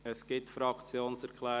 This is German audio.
– Es gibt Fraktionserklärungen.